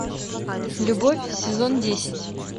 любовь сезон десять